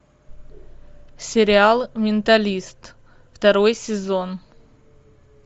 сериал менталист второй сезон